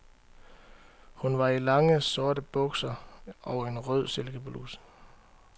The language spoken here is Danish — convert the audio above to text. Hun var i lange, sorte bukser og en rød silkebluse.